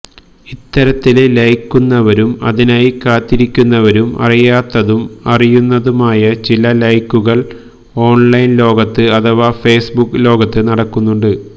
ഇത്തരത്തില് ലൈക്കുന്നവരും അതിനായി കാത്തിരിക്കുന്നവരും അറിയാത്തതും അറിയുന്നതുമായ ചില ലൈക്കുകള് ഓണ്ലൈന് ലോകത്ത് അഥവാ ഫേസ്ബുക്ക് ലോകത്ത് നടക്കുന്നുണ്ട്